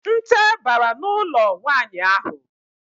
Nte bara n'ụlọ nwaanyị ahụ.